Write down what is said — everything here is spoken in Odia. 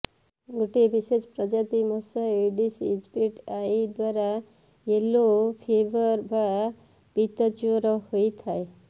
ଗୋଟିଏ ବିଶେଷ ପ୍ରଜାତିର ମଶା ଇଡିସ୍ ଇଜିପ୍ଟିଆଇ ଦ୍ୱାରା ୟେଲୋ ଫିଭର ବା ପିତ ଜ୍ୱର ହୋଇଥାଏ